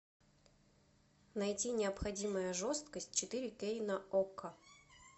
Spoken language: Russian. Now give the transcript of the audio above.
найти необходимая жесткость четыре кей на окко